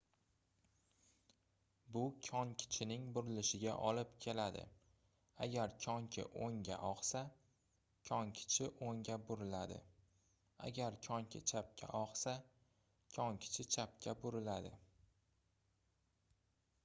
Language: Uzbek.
bu konkichining burilishiga olib keladi agar konki oʻngga ogʻsa konkichi oʻngga buriladi agar konki chapga ogʻsa konkichi chapga buriladi